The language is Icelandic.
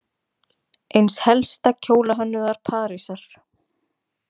Eins helsta kjólahönnuðar Parísar.